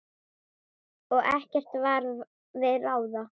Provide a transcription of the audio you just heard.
Og ekkert varð við ráðið.